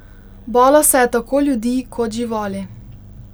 Bala se je tako ljudi kot živali.